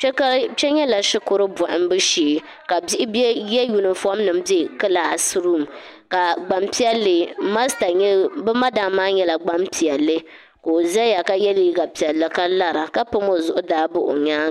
kpe nyɛla shikuru bɔhimbu shee ka bihi ye yunifomnima m-be kilaasi ruum ka bɛ madam maa nyɛla gbampiɛlli ka o zaya ka ye liiga piɛlli ka lara ka pami o zuɣu n-daai bahi o nyaaŋa